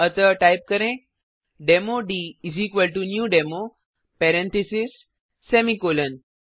अतः टाइप करें demo dnew demo parentheses semicolon